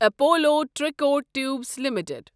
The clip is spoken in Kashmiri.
Apollo tricot tubes limited